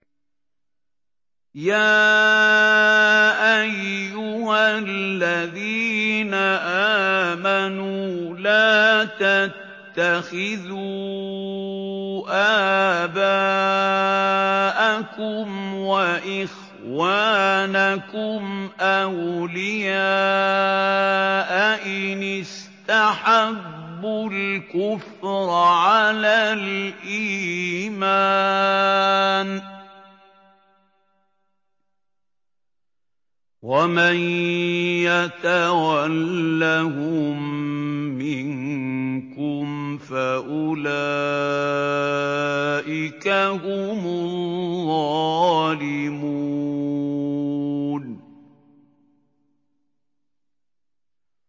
يَا أَيُّهَا الَّذِينَ آمَنُوا لَا تَتَّخِذُوا آبَاءَكُمْ وَإِخْوَانَكُمْ أَوْلِيَاءَ إِنِ اسْتَحَبُّوا الْكُفْرَ عَلَى الْإِيمَانِ ۚ وَمَن يَتَوَلَّهُم مِّنكُمْ فَأُولَٰئِكَ هُمُ الظَّالِمُونَ